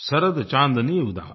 शरद चाँदनी उदास